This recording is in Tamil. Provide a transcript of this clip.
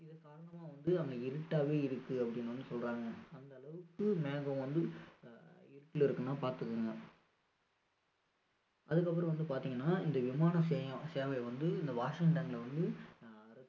அதன் காரணமா வந்து அங்க இருட்டாவே இருக்கு அப்படின்னு வந்து சொல்றாங்க அந்த அளவுக்கு மேகம் வந்து அஹ் இருட்டுல இருக்குன்னா பார்த்துக்கோங்க அதுக்கப்புறம் வந்து பார்த்தீங்கன்னா இந்த விமான சேவை வந்து இந்த வாஷிங்டன்ல வந்து அஹ்